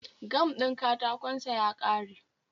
Gam din katakon sa ya kare